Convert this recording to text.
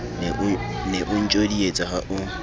ne o ntjodietsa ha o